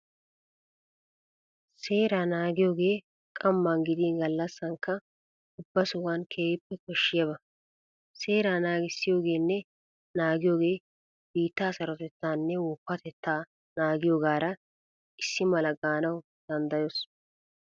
Seeraa naagiyogee qamman gidin gallassankka ubba sohuwan keehippe koshshiyaba. Seeraa naagissiyogeenne naagiyogee biittaa sarotettaanne woppatettaa naagiyogaara issi mala gaanawu danddayoos.